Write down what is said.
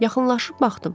Yaxınlaşıb baxdım.